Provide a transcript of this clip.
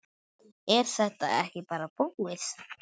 Er þetta ekki bara búið?